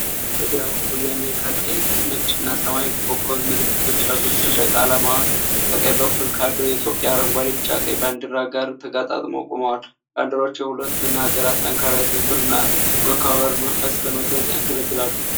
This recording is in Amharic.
በግራ በኩል የአሜሪካን ቀይ፣ ነጭና ሰማያዊ ኮከብ ምልክቶች ያሉት ሰንደቅ ዓላማ ከቀኝ በኩል ካለው የኢትዮጵያ አረንጓዴ፣ ቢጫ፣ ቀይ ባንዲራ ጋር ተጋጥመው ቆመዋል። ባንዲራዎቹ የሁለቱን ሀገራት ጠንካራ የትብብርና የመከባበር መንፈስ ለመግለጽ ያገለግላሉ።